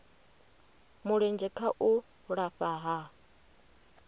mulenzhe kha u lafha ha